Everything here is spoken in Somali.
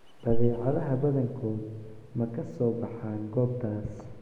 Badeecadaha badankood ma ka soo baxaan goobtaas.